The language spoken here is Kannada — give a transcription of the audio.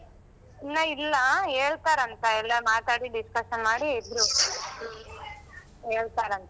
ಇನ್ನ ಇಲ್ಲ, ಹೇಳ್ತರಂತ ಎಲ್ಲ ಮಾತಾಡಿ discussion ಮಾಡಿ ಇಬ್ರೂ ಹೇಳ್ತರಂತ.